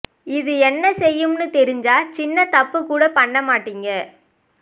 இது என்ன செய்யும்னு தெரிஞ்சா சின்ன தப்பு கூட பண்ண மாட்டீங்க